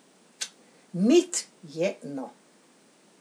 Mit je, no.